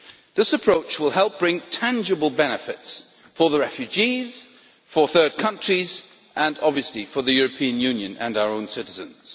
This approach will help bring tangible benefits for the refugees, for third countries, and obviously for the European Union and our own citizens.